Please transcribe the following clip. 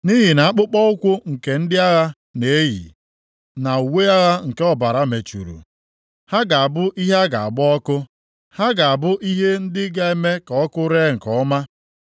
Nʼihi na akpụkpọụkwụ nke ndị agha na-eyi, na uwe agha nke ọbara mechuru, ha ga-abụ ihe a ga-agba ọkụ, ha ga-abụ ihe ndị ga-eme ka ọkụ ree nke ọma.